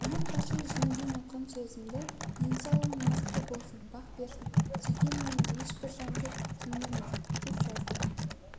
ұмытпашы жеңгең айтқан сөзімді денсаулығың мықты болсын бақ берсін сүйгеніңе ешбір жанды теңгерме деп жазды